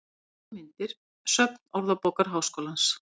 Heimildir og myndir: Söfn Orðabókar Háskólans.